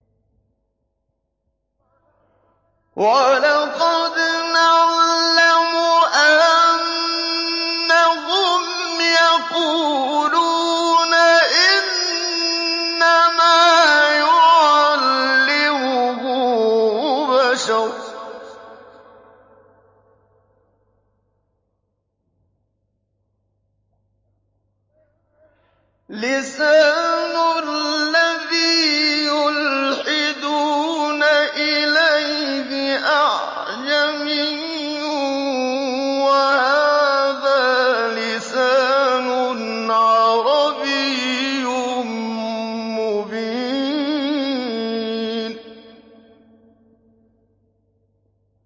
وَلَقَدْ نَعْلَمُ أَنَّهُمْ يَقُولُونَ إِنَّمَا يُعَلِّمُهُ بَشَرٌ ۗ لِّسَانُ الَّذِي يُلْحِدُونَ إِلَيْهِ أَعْجَمِيٌّ وَهَٰذَا لِسَانٌ عَرَبِيٌّ مُّبِينٌ